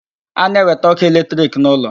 A na-ewete ọkụ electric n'ụlọ